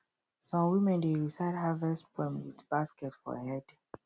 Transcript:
some women dey recite harvest poem with basket for head